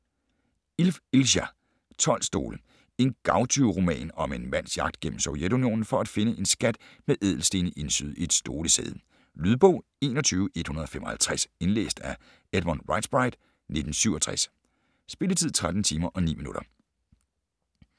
Ilf, Ilja: 12 stole En gavtyveroman om en mands jagt gennem Sovjetunionen for at finde en skat med ædelstene indsyet i et stolesæde. Lydbog 21155 Indlæst af Edmund Riighsbright, 1967. Spilletid: 13 timer, 9 minutter.